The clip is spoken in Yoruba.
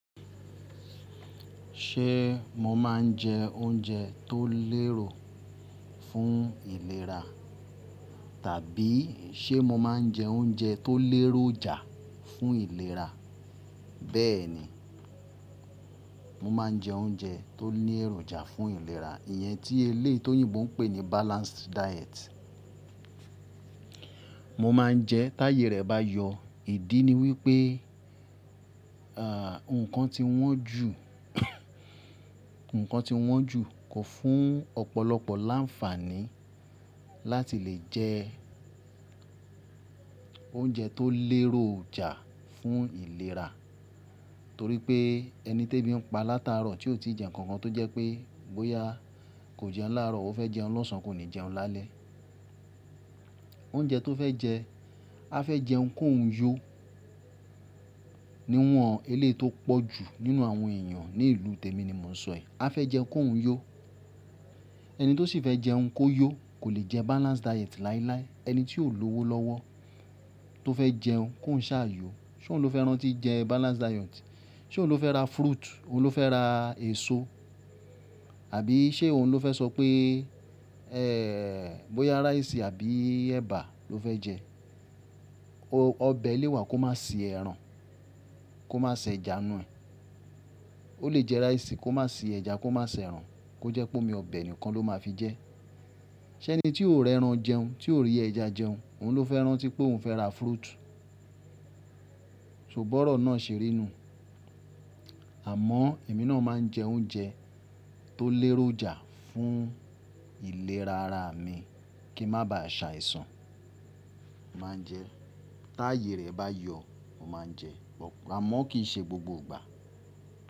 Ṣé mo máa ń jẹ oúnjẹ tó lérò fún ìlera tàbí ṣe mo máa ń jẹ oúnjẹ tó léròjà fún ìlera? Bẹ́ẹ̀ ni, mo máa ń jẹ oúnjẹ tó ní èròjà fún ìlera. Iyẹn tí eléyi tòyìnbó ń pè ní balanced diet. Mo máa ń jẹ táyè rẹ̀ bá yọ. Ìdí ni wípé, à, ǹkan ti wọ́n ju, ǹkan ti wọ́n ju, kọ fún ọ̀pọ̀lọpọ̀ láǹfààní láti lè jẹ oúnjẹ tó léròjà fún ìlera. Torí pé ẹni tebi ń pa látaro tí ó ti jẹ ǹkan kan tó jẹ́ pé bóyá kò jẹun láàrọ̀, ó fẹ́ jẹun lọ́sàn án, kò ní jẹun lálẹ́. Oúnjẹ tó fẹ́ jẹ, a fẹ́ jẹun kó hun yó. Níwọn eléyi tó pọ̀ jù nínú àwọn èèyàn ní ìlú tèmi ni mò ń sọ i. A fẹ́ jẹun kó hun yó. Ẹni tó sì fẹ́ jẹun kó yó kò lè jẹ balanced diet láíláí. Ẹni tí ó lowo lọ́wọ́ tó fẹ́ jẹun kó hun ṣá yó, ṣé òun ló fẹ́ rántí jẹ balanced diet? Ṣé òun ló fẹ́ ra fruit? Òun ló fẹ́ ra èso? Àbí ṣé òun ló fẹ́ sọ pé, ẹ́, bóyá rice àbí ẹba ló fẹ́ jẹ? Ọbẹ̀ le wà kó má si ẹran, kó má ṣ'ẹja n nù ẹ̀. Ó lè jẹ rice kó má si ẹja, kó má si ẹran, kó jẹ́ pé omi ọbẹ̀ nìkan ló máa fi jẹ. Ṣé ẹni tí ó rẹ ẹran jẹun, tí ó rí ẹja jẹun, òun ló fẹ́ rántí pé òun fẹ́ ra fruit? So, bọ́rọ̀ náà ṣeri nu u. Àmọ́ èmi náà máa ń jẹ oúnjẹ tó léròjà fún ìlera ara mi kí n má ba à ṣàìsàn. Mo máa ń jẹ táayè rẹ̀ bá yọ, mo máa ń jẹ. Àmọ́ kì í ṣe gbogbo ìgbà.